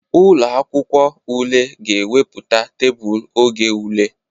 Ụlọ akwụkwọ ule ga-ewepụta tebụl oge ule.